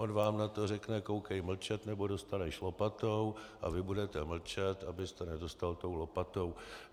On vám na to řekne: koukej mlčet, nebo dostaneš lopatou, a vy budete mlčet, abyste nedostal tou lopatou.